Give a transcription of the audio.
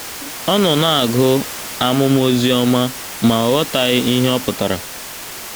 Ọ nọ na - agụ amụma Ozioma, ma, ọ ghọtaghị ihe ọ pụtara.